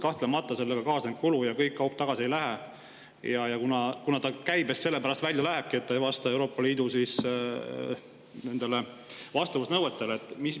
Kahtlemata kaasneb sellega kulu ja kogu kaup tagasi ei lähe, kuna see läheb käibest välja selle pärast, et see ei vasta Euroopa Liidu nõuetele.